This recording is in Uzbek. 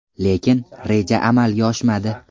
Lekin, reja amalga oshmadi.